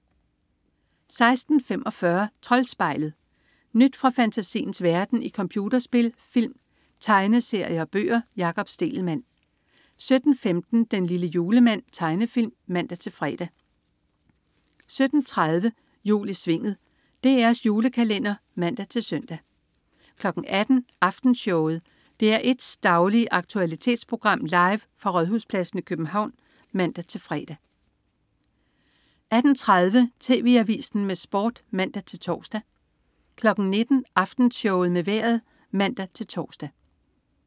16.45 Troldspejlet. Nyt fra fantasiens verden i computerspil, film, tegneserier og bøger. Jakob Stegelmann 17.15 Den lille julemand. Tegnefilm (man-fre) 17.30 Jul i Svinget. DR's julekalender (man-søn) 18.00 Aftenshowet. DR1's daglige aktualitetsprogram, live fra Rådhuspladsen i København (man-fre) 18.30 TV Avisen med Sport (man-tors) 19.00 Aftenshowet med Vejret (man-tors)